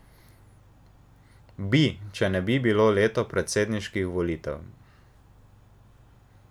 Bi, če ne bi bilo leto predsedniških volitev.